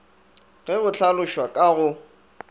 ge go hlalošwa ka go